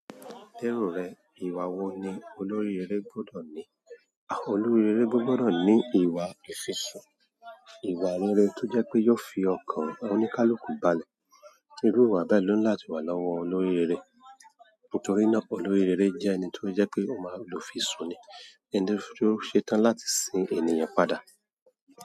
Lérò rẹ, ìwà wo ni olórí eré gbọ́dọ̀ ní? Olórí eré gbọ́dọ̀ ní ìwà ìfisùn, ìwà rere tó jẹ́ pé yóò fi ọkàn oníkálùkù balẹ̀. Irú ìwà bẹ́ẹ̀ ló ní láti wà lọ́wọ́ olóríire. Nítorí náà, olóríire jẹ́ ẹni tó jẹ́ pé ó máa, olùfisùn ni, tí o ṣe tán láti sin ènìyàn padà.